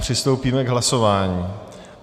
Přistoupíme k hlasování.